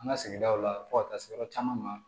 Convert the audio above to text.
An ka sigidaw la fo ka taa se yɔrɔ caman ma